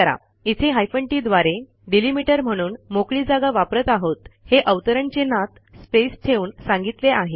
इथे hyphen TT द्वारे delimiter म्हणून मोकळी जागा वापरत आहोत हे अवतरण चिन्हात स्पेस ठेवून सांगितले आहे